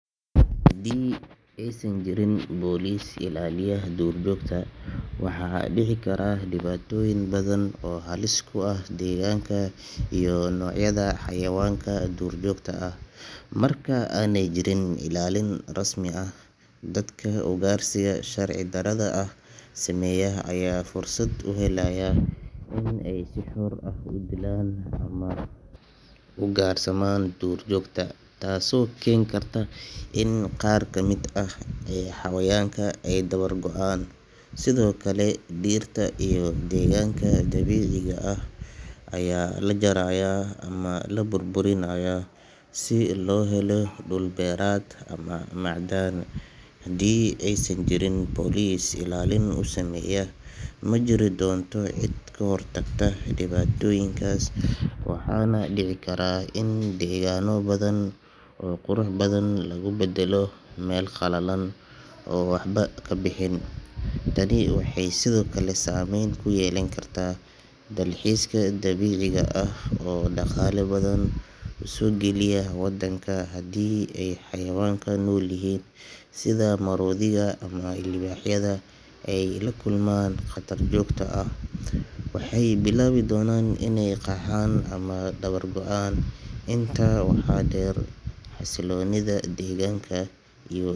Haddii aysan jirin police ilaaliya duurjoogta, waxaa dhici kara dhibaatooyin badan oo halis ku ah deegaanka iyo noocyada xayawaanka duurjoogta ah. Marka aanay jirin ilaalin rasmi ah, dadka ugaarsiga sharci darrada ah sameeya ayaa fursad u helaya inay si xor ah u dilaan ama ugaarsadaan duurjoogta, taasoo keeni karta in qaar ka mid ah xayawaanka ay dabar go’aan. Sidoo kale, dhirta iyo deegaanka dabiiciga ah ayaa la jarayaa ama la burburinayaa si loo helo dhul beereed ama macdan. Haddii aysan jirin police ilaalin u sameeya, ma jiri doonto cid ka hortagta dhibaatooyinkaas, waxaana dhici kara in deegaanno badan oo qurux badan lagu beddelo meel qallalan oo waxba ka bixin. Tani waxay sidoo kale saameyn ku yeelan kartaa dalxiiska dabiiciga ah oo dhaqaale badan usoo geliya wadanka. Haddii ay xayawaanka noolyihiin sida maroodiga ama libaaxyada ay la kulmaan khatar joogto ah, waxay bilaabi doonaan inay qaxaan ama dabar go’aan. Intaa waxaa dheer, xasiloonida deegaanka iyo.